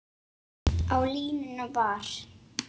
Á línunni var